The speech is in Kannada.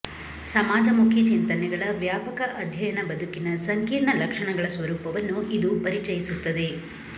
ಸಮಾಜ ಮುಖಿ ಚಿಂತನೆಗಳ ವ್ಯಾಪಕ ಅಧ್ಯಯನ ಬದುಕಿನ ಸಂಕೀರ್ಣ ಲಕ್ಞಣಗಳ ಸ್ವರೂಪವನ್ನು ಇದು ಪರಿಚಯಿಸುತ್ತದೆ